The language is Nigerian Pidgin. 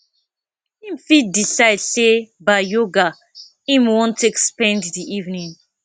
im fit decide sey ba yoga im wan take spend di evening